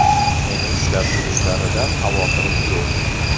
Meni ushlab turishlaridan xavotirim yo‘q.